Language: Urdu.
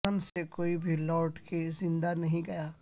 رن سے کوئی بھی لوٹ کے زندہ نہیں گیا